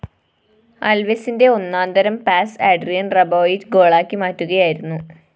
അല്‍വെസിന്റെ ഒന്നാന്തരം pass Adrien‍ Rabiot ഗോളാക്കി മാറ്റുകയായിരുന്നു